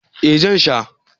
eh Zan sha